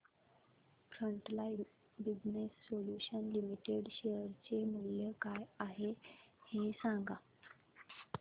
frontline business solutions limited share चे मूल्य काय आहे हे सांगा